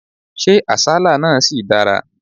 Ṣé àsálà náà ṣì dára?